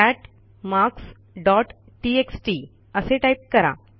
cat marks dot text असे type करा